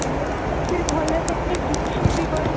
makeup ବି ଭଲ ହେଇନି କିଛି ବି କରିନି